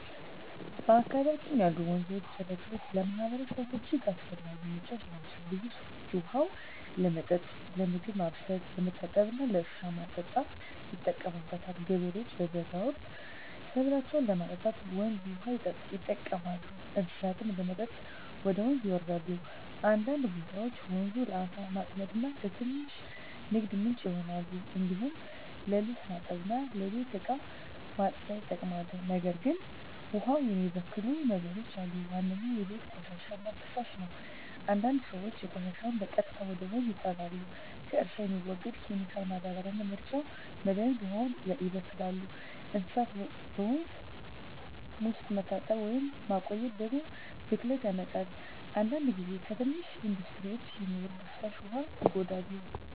በአካባቢያችን ያሉ ወንዞችና ጅረቶች ለማህበረሰቡ እጅግ አስፈላጊ ምንጮች ናቸው። ብዙ ሰዎች ውሃውን ለመጠጥ፣ ለምግብ ማብሰል፣ ለመታጠብ እና ለእርሻ ማጠጣት ይጠቀሙበታል። ገበሬዎች በበጋ ወቅት ሰብላቸውን ለማጠጣት ወንዝ ውሃ ይጠቀማሉ፣ እንስሳትም ለመጠጥ ወደ ወንዝ ይወሰዳሉ። አንዳንድ ቦታዎች ወንዙ ለዓሣ ማጥመድ እና ለትንሽ ንግድ ምንጭ ይሆናል። እንዲሁም ለልብስ ማጠብ እና ለቤት እቃ ማጽዳት ይጠቅማል። ነገር ግን ውሃውን የሚበክሉ ነገሮች አሉ። ዋነኛው የቤት ቆሻሻ እና ፍሳሽ ነው፤ አንዳንድ ሰዎች ቆሻሻቸውን በቀጥታ ወደ ወንዝ ይጣላሉ። ከእርሻ የሚወርድ ኬሚካል ማዳበሪያ እና መርጫ መድሀኒትም ውሃውን ያበክላሉ። እንስሳት በወንዝ ውስጥ መታጠብ ወይም መቆየት ደግሞ ብክለት ያመጣል። አንዳንድ ጊዜ ከትንሽ ኢንዱስትሪዎች የሚወርድ ፍሳሽ ውሃ ይጎዳል።